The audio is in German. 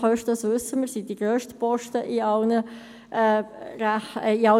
Die Lohnkosten sind die grössten Posten in allen Budgets.